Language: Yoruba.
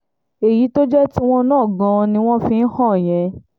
èyí tó jẹ́ tiwọn náà gan-an ni wọ́n fi hàn án yẹn